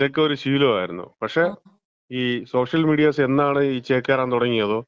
ഇതൊക്കെ ഒരു ശീലമായിരുന്നു. പക്ഷേ, ഈ സോഷ്യൽ മീഡിയാസ് എന്നാണോ ഈ ചേക്കേറാൻ തുടങ്ങേത്,